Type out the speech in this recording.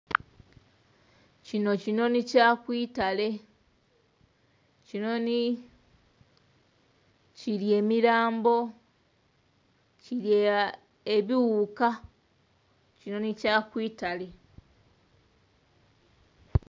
Kino kinoni kya kwitale. Kinoni...kirya emirambo, kirya ebiwuuka, kinoni kya kwitale.